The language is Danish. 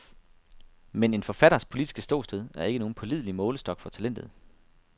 Men en forfatters politiske ståsted er ikke nogen pålidelig målestok for talentet.